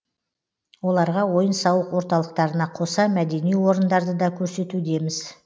оларға ойын сауық орталықтарына қоса мәдени орындарды да көрсетудеміз